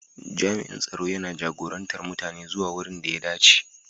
Jami'in tsaro yana jagorantar mutane zuwa wurin da ya dace.